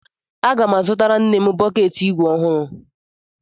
Aga m azụtara nne m bọkeetị igwe ọhụrụ.